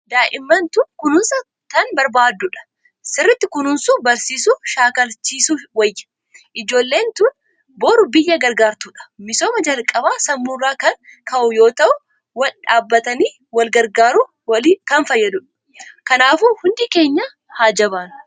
Daa'imman tun kunuunsa tan barbaaddudha. Sirritti kunuunsuu barsiisuu shaakalchiisuu wayya. Joollen tan boru biyya gargaartudha. Misoomni jalqaba sammurraa kan ka'u yoo ta'u wal dhaabbatanij wal gargaaruf kan fayyadu. Kanaafuu hundi keenya haa jabaannuu.